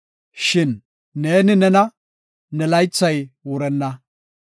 Shin neeni nena; ne laythay wurenna.